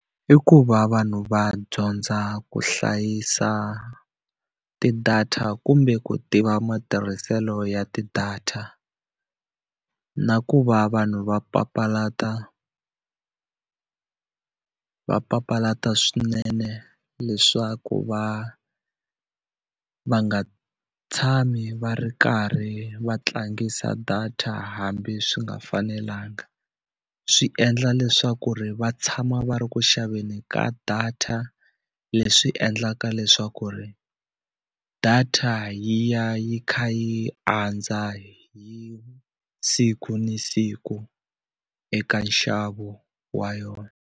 I ku va vanhu va dyondza ku hlayisa ti-data kumbe ku tiva matirhiselo ya ti-data na ku va vanhu va papalata va papalata swinene leswaku va va nga tshami va ri karhi va tlangisa data hambi swi nga fanelanga. Swi endla leswaku ri va tshama va ri ku xaveni ka data leswi endlaka leswaku ri data yi ya yi kha yi andza hi siku ni siku eka nxavo wa yona.